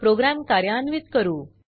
programme कार्यान्वीत करू